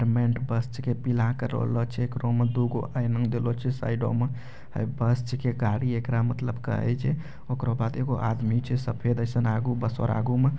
बस छींके पीला कलोरो छै एकरा मे दु गो ऐना देलो छै साइडो मे इ बस छींके गाड़ी एकरा मतलब कहे छै ओकरा बाद एगो आदमी छै सफेद एसन आगु बस आर आगु में।